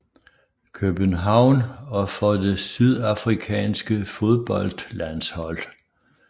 København og for det sydafrikanske fodboldlandshold